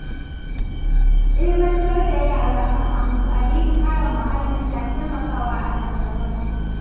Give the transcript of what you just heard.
Ilimantar da yara kan amfanin kare muhalli na taimakawa a nan gaba.